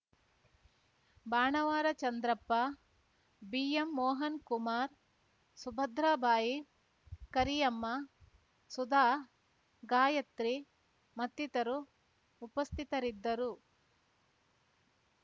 Banavara Chandrappa B M Mohankumar Subhadrabai Kariyamma Sudha Gayatri ಮತ್ತಿತರು ಉಪಸ್ಥಿತರಿದ್ದರು